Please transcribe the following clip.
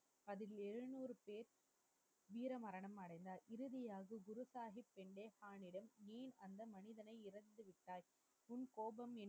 அதில் எழுநூறு பேர் வீர மரணம் அடைந்தர். இறுதியாக குரு சாஹிப் தன்னிடம் இருந்த மீதி